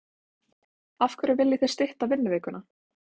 Af hverju viljið þið stytta vinnuvikuna?